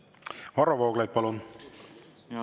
Varro Vooglaid, palun!